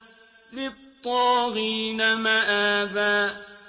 لِّلطَّاغِينَ مَآبًا